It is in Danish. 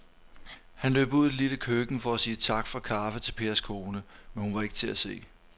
Han løb ud i det lille køkken for at sige tak for kaffe til Pers kone, men hun var ikke til at se.